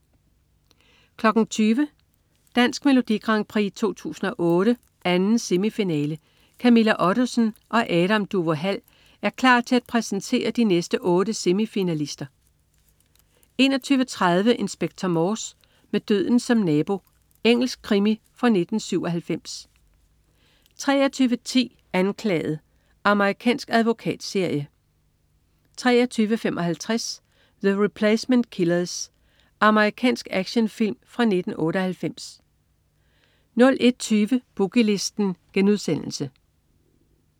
20.00 Dansk Melodi Grand Prix 2008. 2. semifinale. Camilla Ottesen og Adam Duvå Hall er klar til at præsentere de næste otte semifinalister 21.30 Inspector Morse: Med døden som nabo. Engelsk krimi fra 1997 23.10 Anklaget. Amerikansk advokatserie 23.55 The Replacement Killers. Amerikansk actionfilm fra 1998 01.20 Boogie Listen*